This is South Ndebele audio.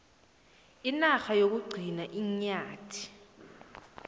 inarha yokugcina iinyathi